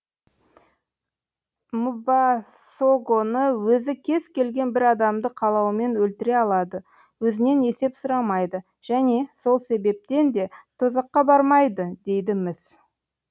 мбасогоны өзі кез келген бір адамды қалауымен өлтіре алады өзінен есеп сұрамайды және сол себептен де тозаққа бармайды дейді міс